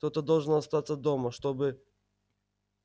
кто-то же должен остаться дома чтобы